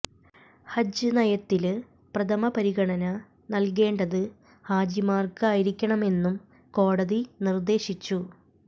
ഹജ്ജ് നയത്തില് പ്രഥമ പരിഗണന നല്കേണ്ടത് ഹാജിമാര്ക്ക് ആയിരിക്കണമെന്നും കോടതി നിര്ദ്ദേശിച്ചു